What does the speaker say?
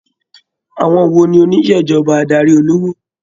Àwọn wo ni onisejọba adarí olówó.